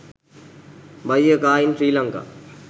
buy a car in sri lanka